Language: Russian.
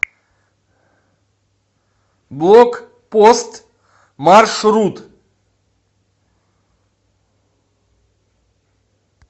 блокпост маршрут